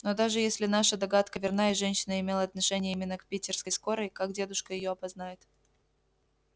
но даже если наша догадка верна и женщина имела отношение именно к питерской скорой как дедушка её опознает